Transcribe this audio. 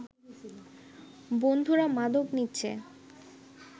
বন্ধুরা মাদক নিচ্ছে